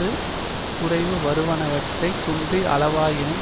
ஒரு குறைவு வருவனவற்றைக் குன்றி அளவாயினும்